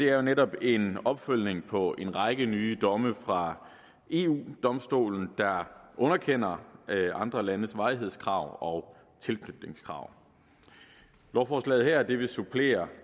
er jo netop en opfølgning på en række nye domme fra eu domstolen der underkender andre landes varighedskrav og tilknytningskrav lovforslaget her vil supplere